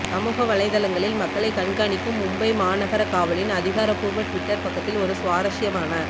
சமூக வலைதளங்களில் மக்களைக் கண்காணிக்கும் மும்பை மாநகர காவலின் அதிகாரபூர்வ ட்விட்டர் பக்கத்தில் ஒரு சுவாரஸ்யமான